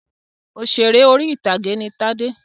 Òṣèrè orí-ìtàgé ni Tádé.